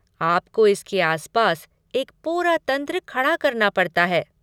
आपको इसके आस पास एक पूरा तंत्र खड़ा करना पड़ता हैं।